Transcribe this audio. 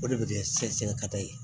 O de bɛ kɛ sɛgɛsɛgɛ ka taa ye